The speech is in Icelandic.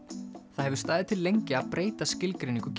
það hefur staðið til lengi að breyta skilgreiningu